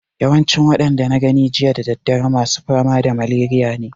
Yawancin waɗanda na gani jiya da daddare masu fama da maleriya ne